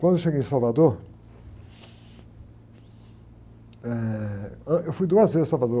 Quando eu cheguei em Salvador, eh, ãh, eu fui duas vezes a Salvador.